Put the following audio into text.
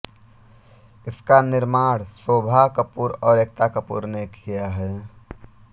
इसका निर्माण शोभा कपूर और एकता कपूर ने किया है